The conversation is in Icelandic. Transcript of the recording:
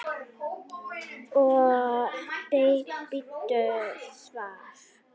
Og bíddu svars.